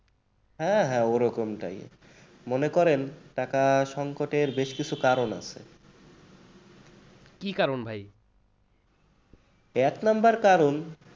হ্যাঁ হ্যাঁ ওই রকম type মনে করেন টাকা সংকটের বেশ কিছু কারণ আছে। এক number কারণ